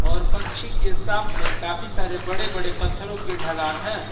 और पंछी के सामने काफी सारे बड़े बड़े पत्थरों के ढलान हैं।